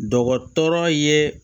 Dɔgɔtɔrɔ ye